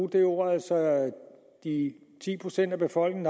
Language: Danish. altså at de ti procent af befolkningen